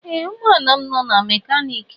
Ee ụgbọ ala m nọ na mekaniki.